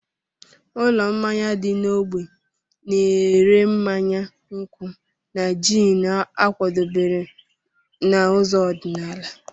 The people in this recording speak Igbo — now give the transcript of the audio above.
Ụlọ mmanya dị n'ógbè na-ere mmanya nkwụ́ na jiini a kwadebere n'ụzọ ọdịnala.